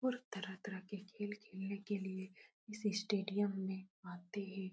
बहुत तरह - तरह के खेल खेलने के लिए इस स्टेडियम में आते हैं।